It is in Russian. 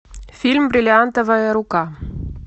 фильм бриллиантовая рука